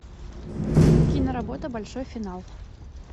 киноработа большой финал